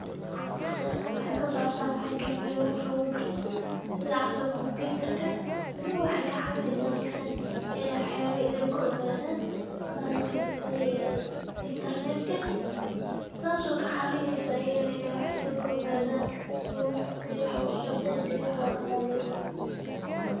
Halkan wxa kasocta wxaytahay Mel wax lagubarto sitha camal computarka ,ilmaha wxa ka cawineysa meshan inay wax yawa I dil kaogadan bahalkan layirada internetka, tas o kacawineysa ayaganah inay wax kaogadan si wax u socdoiyo si wax lodaqaleyo.